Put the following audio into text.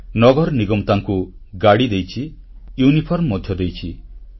ନଗର ନିଗମ ତାଙ୍କୁ ଗାଡ଼ି ଦେଇଛି ୟୁନିଫର୍ମ ମଧ୍ୟ ଦେଇଛି